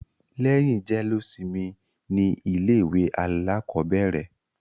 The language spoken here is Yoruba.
Lẹ́yìn jẹ́lósimi ni ilé ìwé alákọ̀bẹ̀rẹ̀.